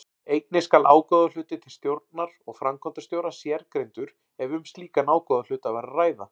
Einnig skal ágóðahluti til stjórnar og framkvæmdastjóra sérgreindur ef um slíkan ágóðahluta var að ræða.